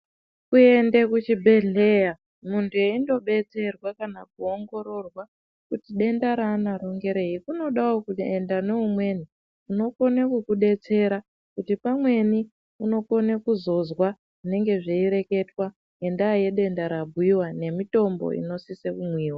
Kuende kuchibhehleya muntu eindodetserwa kana kuongororwa kuti denda raunaro ngerei kunodawo kuenda noumweni unokone kukudetsera kuti pamweni unokone kuzozwa zvinenge zveireketwa ngendaa yedenda rabhuiwa nemitombo inosise kumwiwa.